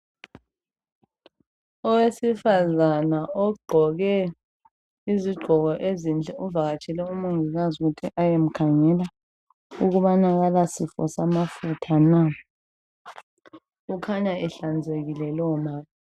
Owesifazana ogqoke izigqoko ezinhle uvakatshela umongikazi ukuthi bayemkhangela ukuthi akalasifo samafutha na. Ukhanya ehlanzekileyo lowomama.